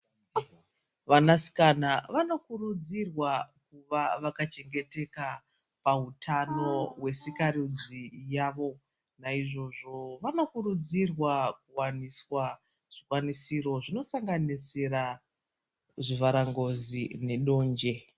Vanasikana vano kurudzirwa kuva vaka chengeteka pa hutano hwe sika rudzi yavo naizvozvo vano kurudzirwa kuwaniswa zvikwanisiro zvino sanganisira zvivhara ngozi ne donje.